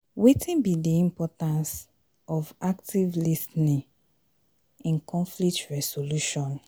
wetin be di importance of active lis ten ing in conflict resolution?